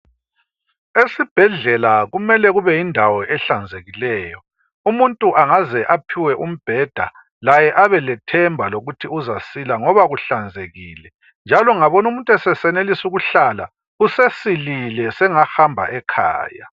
Esibhedlela kumele kube yindawo ehlanzekileyo umuntu angaze aphiwe umbheda laye abelethemba lokuthi uzasila ngoba kuhlanzekile. Njalo ungabona umuntu esesenelisa ukuhlala usesilile sengahamba ekhaya.